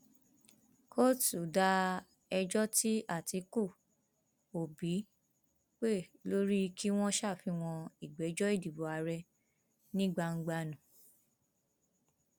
kóòtù da ẹjọ tí àtikukú òbí pè lórí kí wọn ṣàfihàn ìgbẹjọ ìdìbò àárẹ ní gbangba nù